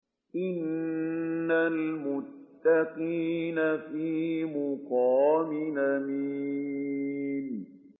إِنَّ الْمُتَّقِينَ فِي مَقَامٍ أَمِينٍ